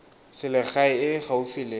selegae e e gaufi le